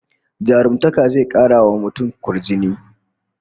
Jarumtaka zai kara wa mutum kwarjini